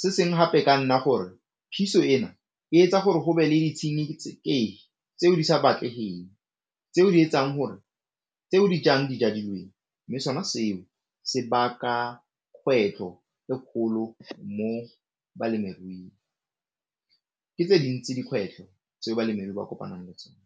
se sengwe gape e ka nna gore phiso ena e etsa gore go be le ditshenekegi tseo di sa batlegeng tse o di etsang gore tse o di jang di mme sone seo se baka kgwetlho e kgolo mo balemiruing ka tse dintsi dikgwetlho tse balemirui ba kopanang le tsona.